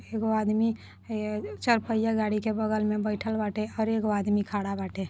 एगो आदमी ए चारपहिया गाड़ी के बगल में बइठल बाटे और एगो आदमी खड़ा बाटे।